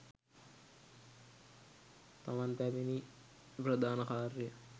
තමන් පැමිණි ප්‍රධාන කාර්යය